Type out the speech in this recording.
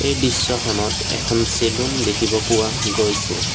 এই দৃশ্যখনত এখন চেলুন দেখিব পোৱা গৈছে।